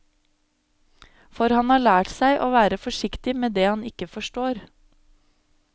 For han har lært seg å være forsiktig med det han ikke forstår.